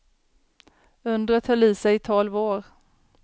Undret höll i sig i tolv år.